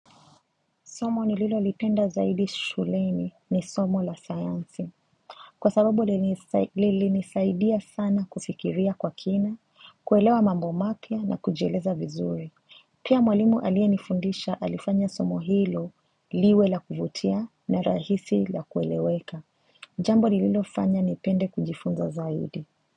Somo nililolipenda zaidi shuleni ni somo la sayansi. Kwa sababu lilinisaidia sana kufikiria kwa kina, kuelewa mambo mapya na kujieleza vizuri. Pia mwalimu aliyenifundisha alifanya somo hilo liwe la kuvutia na rahisi la kueleweka. Jambo lililofanya nipende kujifunza zaidi.